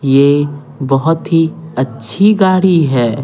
ये बहुत ही अच्छी गाड़ी है।